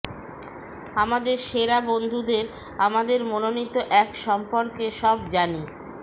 আমাদের সেরা বন্ধুদের আমাদের মনোনীত এক সম্পর্কে সব জানি